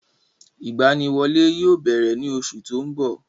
Ìgbaniwọlé yóò bẹ̀rẹ̀ ní oṣù tó ń bọ̀.